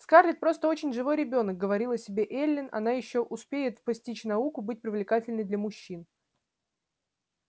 скарлетт просто очень живой ребёнок говорила себе эллин она ещё успеет постичь науку быть привлекательной для мужчин